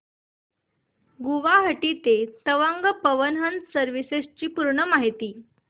गुवाहाटी ते तवांग पवन हंस सर्विसेस ची पूर्ण माहिती